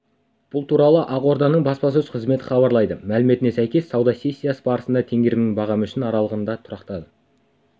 бұл туралы ақорданың баспасөз қызметі хабарлайды мәліметіне сәйкес сауда сессиясы барысында теңгенің бағамы үшін аралығында тұрақтады